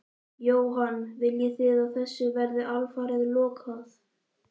Jóhann: Viljið þið að þessu verði alfarið lokað?